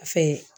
Fɛn